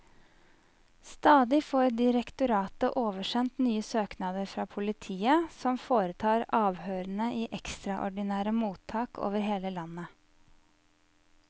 Stadig får direktoratet oversendt nye søknader fra politiet, som foretar avhørene i ekstraordinære mottak over hele landet.